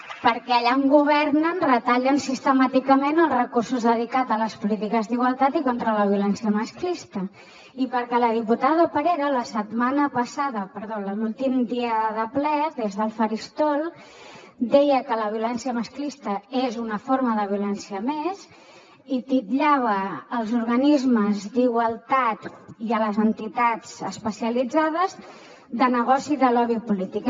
perquè allà on governen retallen sistemàticament els recursos dedicats a les polítiques d’igualtat i contra la violència masclista i perquè la diputada parera l’últim dia de ple des del faristol deia que la violència masclista és una forma de violència més i titllava els organismes d’igualtat i les entitats especialitzades de negoci de lobby polític